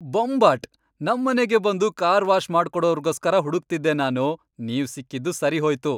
ಬೊಂಬಾಟ್! ನಮ್ಮನೆಗೇ ಬಂದು car wash ಮಾಡ್ಕೊಡೋರ್ಗೋಸ್ಕರ ಹುಡುಕ್ತಿದ್ದೆ ನಾನು, ನೀವ್ ಸಿಕ್ಕಿದ್ದು ಸರಿಹೋಯ್ತು!